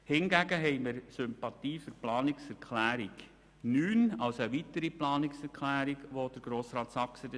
Hingegen hegen wir Sympathie für die Planungserklärung 9 von Grossrat Saxer.